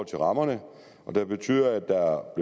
til rammerne og den betyder at der